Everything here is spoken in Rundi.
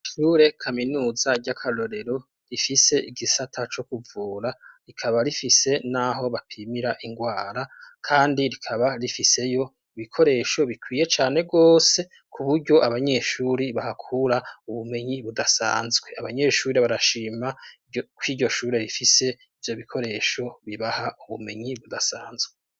Ishure kaminuza ry'akarorero, rifise igisata co kuvura, rikaba rifise n'aho bapimira indwara, kandi rikaba rifiseyo ibikoresho bikwiye cane rwose, ku buryo abanyeshuri bahakura ubumenyi budasanzwe. Abanyeshuri barashima ko iryo shure rifise ivyo bikoresho, bibaha ubumenyi budasanzwe.